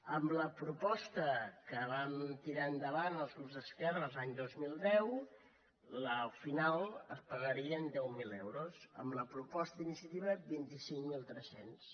amb la proposta que vam tirar endavant els grups d’esquerres l’any dos mil deu al final es pagarien deu mil euros amb la proposta d’iniciativa vint cinc mil tres cents